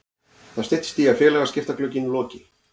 Það styttist í að félagaskiptaglugginn loki.